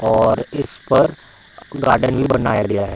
और इस पर गार्डन भी बनाया गया है।